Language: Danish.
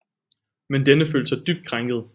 Men denne følte sig dybt krænket